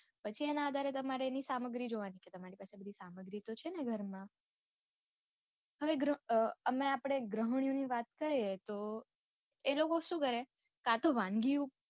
પછી એના આધારે તમારે એની સામગ્રી જોવાની કે તમારી પાસે બધી સામગ્રી તો છે ને ઘરમાં. હવે અમે આપડે ગૃહનિયો ની વાત કરીયે તો એ લોકો શું કરે કાંતો વાનગી ઉપર